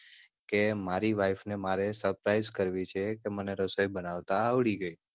કે મારી wife ને મારે suprise કરવી છે કે મને રસોઈ બનાવતા આવડી ગઈ.